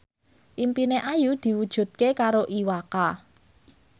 impine Ayu diwujudke karo Iwa K